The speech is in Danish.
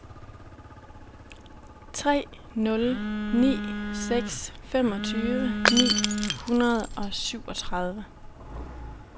tre nul ni seks femogtyve ni hundrede og syvogtredive